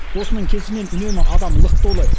осының кесірінен үнемі адам лық толы